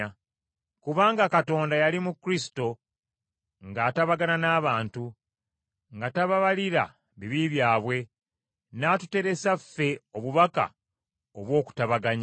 Kubanga Katonda yali mu Kristo, ng’atabagana n’abantu, nga tababalira, bibi byabwe, n’atuteresa ffe obubaka obw’okutabaganya.